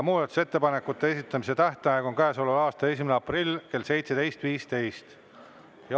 Muudatusettepanekute esitamise tähtaeg on käesoleva aasta 1. aprill kell 17.15.